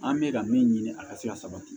An bɛ ka min ɲini a ka se ka sabati